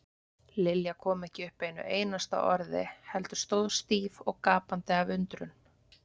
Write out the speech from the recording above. Lilja kom ekki upp einu einasta orði heldur stóð stíf og gapandi af undrun.